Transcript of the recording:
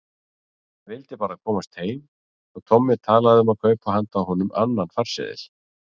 Vildi bara komast heim, svo Tommi talaði um að kaupa handa honum annan farseðil.